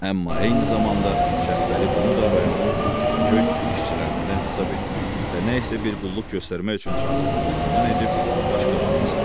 Amma eyni zamanda Şəbpəli bunu da rayonun kefikök işçilərindən hesab etdi və nə isə bir qulluq göstərmək üçün çağrıldığını güman edib qaşqabağını salladı.